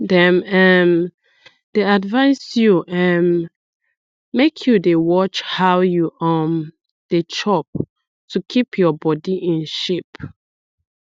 dem um dey advise you um make you dey watch how you um dey chop to keep your body in shape